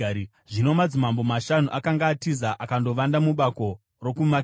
Zvino madzimambo mashanu akanga atiza akandovanda mubako rokuMakedha.